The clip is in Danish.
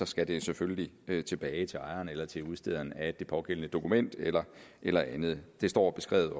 skal det selvfølgelig tilbage til ejeren eller til udstederen af det pågældende dokument eller eller andet det står